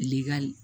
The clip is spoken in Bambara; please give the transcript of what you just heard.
Likali